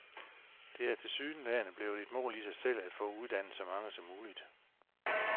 Det er tilsyneladende blevet et mål i sig selv at få uddannet så mange som muligt.